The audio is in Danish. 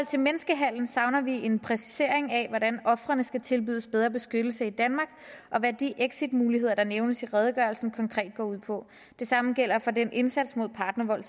til menneskehandel savner vi en præcisering af hvordan ofrene skal tilbydes bedre beskyttelse i danmark og hvad de exitmuligheder der nævnes i redegørelsen konkret går ud på det samme gælder den indsats mod partnervold